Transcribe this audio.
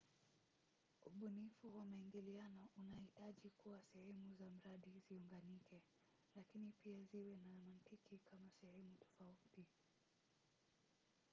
ubunifu wa maingiliano unahitaji kuwa sehemu za mradi ziunganike lakini pia ziwe na mantiki kama sehemu tofauti